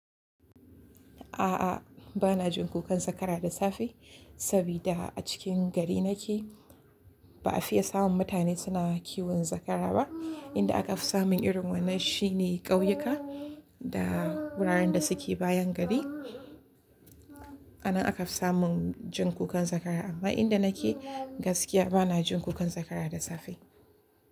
A'a, bana jin kukan zakara da safe saboda a cikin gari nake ba a fiye samun mutane suna kiwon zakara ba. Inda aka fi samun irin wannan shine ƙauyuka da wuraren da suke bayan gari. Anan aka fi samun jin kukan zakara amma inda nake gaskiya bana jin kukan zakara da safe.